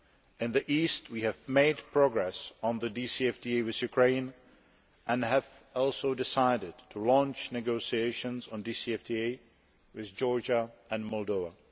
In the East, we have made progress on the DCFTA with Ukraine and have also decided to launch negotiations on DCFTAs with Georgia and Moldova.